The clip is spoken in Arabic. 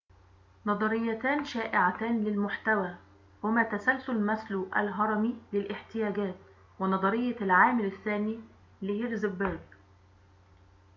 نظريتان شائعتان للمحتوى هما تسلسل ماسلو الهرمي للاحتياجات و نظرية العامل الثاني لهيرزبرج